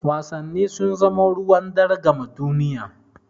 Wasanni sun zama ruwan dare gama duniya.